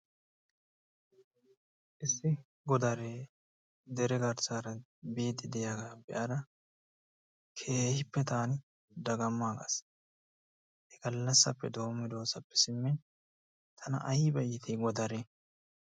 Issi godaree dere garssaara biiddi de'iyagaa be'ada keehippe taani dagammaagas. He gallassappe doommidoosappe simmin tana ayba iitii godaree.